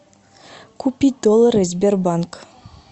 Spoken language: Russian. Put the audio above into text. купить доллары сбербанк